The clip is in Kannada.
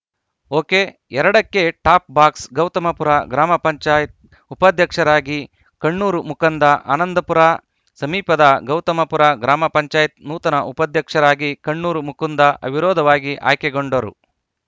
ಒಕೆ ಎರಡ ಕ್ಕೆ ಟಾಪ್‌ ಬಾಕ್ಸ್‌ ಗೌತಮಪುರ ಗ್ರಾಮ ಪಂಚಾಯತ್ ಉಪಾಧ್ಯಕ್ಷರಾಗಿ ಕಣ್ಣೂರು ಮುಕುಂದ ಆನಂದಪುರ ಸಮೀಪದ ಗೌತಮಪುರ ಗ್ರಾಮ ಪಂಚಾಯತ್ ನೂತನ ಉಪಾಧ್ಯಕ್ಷರಾಗಿ ಕಣ್ಣೂರು ಮುಕುಂದ ಅವಿರೋಧವಾಗಿ ಆಯ್ಕೆಗೊಂಡರು